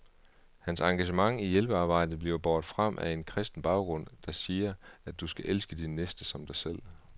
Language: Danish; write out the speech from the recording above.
Hans engagement i hjælpearbejdet bliver båret frem af en kristen baggrund, der siger, at du skal elske din næste som dig selv.